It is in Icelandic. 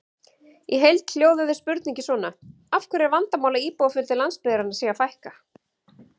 Í heild hljóðaði spurningin svona: Af hverju er vandamál að íbúafjölda landsbyggðarinnar sé að fækka?